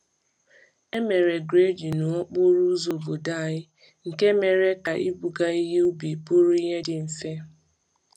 E mere grading n’okporo ụzọ obodo anyị, nke mere ka ibuga ihe ubi bụrụ ihe dị mfe.